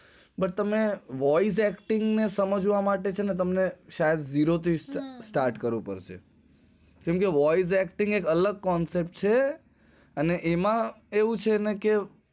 પણ તમને voice acting સમજવા માટે પેહલા થી શરૂવાત કરવી પડશે